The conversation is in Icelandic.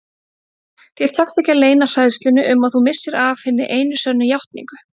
Þér tekst ekki að leyna hræðslunni um að þú missir af hinni einu sönnu játningu.